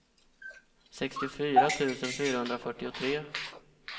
sextiofyra tusen fyrahundrafyrtiotre